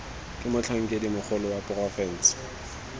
ke motlhankedi mogolo wa porofense